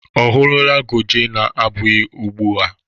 Ọ hụrụla goje na abụghị ugbu a?